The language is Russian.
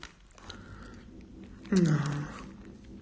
да